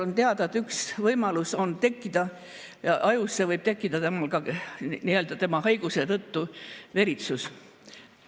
On teada, et üks võimalus on see, et ajus võib tekkida tema haiguse tõttu veritsus.